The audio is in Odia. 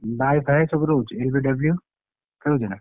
ସବୁ ରହୁଛି? LBW ରହୁଛି ନା?